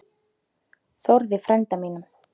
Þórði frænda mínum!